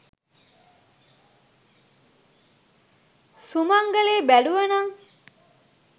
සුමංගලේ බැලුවනං.